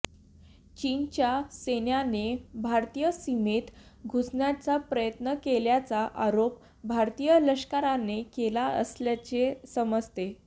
चीनच्या सैन्याने भारतीय सीमेत घुसण्याचा प्रयत्न केल्याचा आरोप भारतीय लष्कराने केला असल्याचे समजते